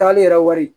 Taali yɛrɛ wari